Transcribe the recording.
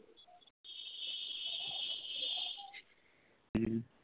হম